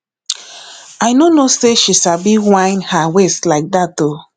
i no no know say she sabi whine her waist like dat oo